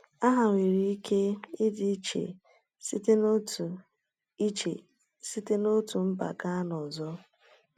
Aha nwere ike ịdị iche site n’otu iche site n’otu mba gaa n’ọzọ.